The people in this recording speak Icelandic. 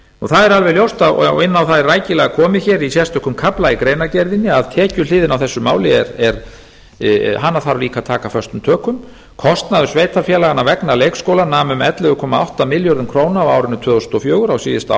það er alveg ljóst og inn á það er sérstaklega komið í sérstökum kafla í greinargerðinni að tekjuhliðina á þessu máli þarf líka að taka föstum tökum kostnaður sveitarfélaganna vegna leikskóla nam um ellefu komma átta milljörðum króna á árinu tvö þúsund og fjögur á síðasta